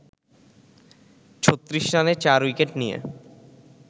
৩৬ রানে ৪ উইকেট নিয়ে